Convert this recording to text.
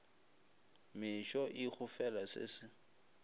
mešo e gofela se se